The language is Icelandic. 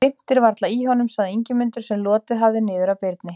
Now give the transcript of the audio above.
Það krimtir varla í honum, sagði Ingimundur, sem lotið hafði niður að Birni.